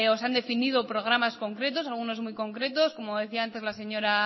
se han definido programas concretos algunos muy concretos como decía antes la señora